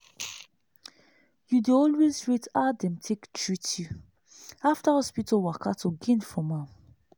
you dey always rate how dem take treat you after hospital waka to gain from am.